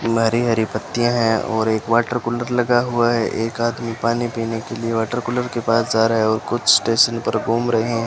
में हरी हरी पत्तियां हैं और एक वाटर कूलर लगा हुआ है एक आदमी पानी पीने के लिए वाटर कूलर के पास जा रहा है और कुछ स्टेशन पर घूम रहे --